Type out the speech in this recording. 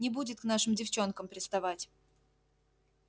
не будет к нашим девчонкам приставать